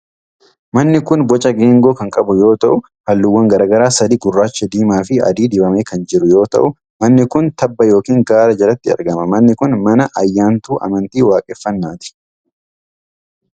Manni kun boca geengoo kan qabu yoo ta'u, haalluuwwan garaa garaa sadi :gurraacha, diimaa fi adii dibamee kan jiru yoo ta'u, manni kun tabba yookin gaara jalatti argama. Manni kun, mana ayyaantuu amntii waaqeffannaati.